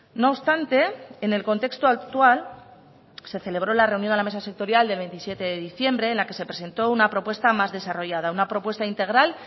no obstante en el contexto actual se celebró la reunión de la mesa sectorial de veintisiete de diciembre en la que se presentó una propuesta más desarrollada una propuesta integral